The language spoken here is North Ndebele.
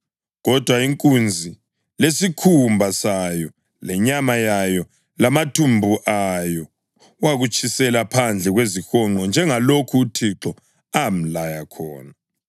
Kodwa inkunzi lesikhumba sayo, lenyama yayo, lamathumbu ayo wakutshisela phandle kwezihonqo njengalokho uThixo amlaya khona.